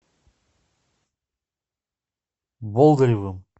болдыревым